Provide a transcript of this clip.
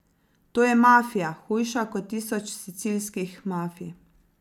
To je mafija, hujša kot tisoč sicilskih mafij.